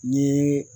Ni